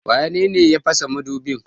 waye ya pasa madubi?